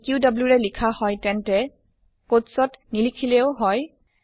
যদি ক্যু ৰে লিখা হয় তেন্তে কোটছ ত নিলিখিলেও হয়